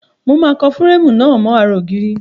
Mo máa kan fúréèmù náà mọ́ ara ògiri.